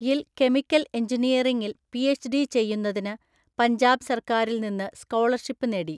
യിൽ കെമിക്കൽ എഞ്ചിനീയറിംഗിൽ പിഎച്ച്‌ഡി ചെയ്യുന്നതിന് പഞ്ചാബ് സർക്കാരിൽ നിന്ന് സ്കോളർഷിപ്പ് നേടി.